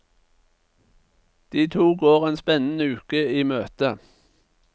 De to går en spennende uke i møte.